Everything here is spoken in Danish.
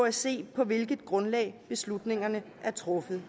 at se på hvilket grundlag beslutningerne er truffet